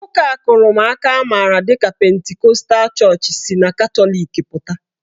Ụka akụrụmaka amara dịka pentikọtal chọọchị si na Katọlik pụta.